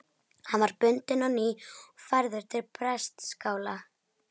Hann var bundinn á ný og færður til prestaskála.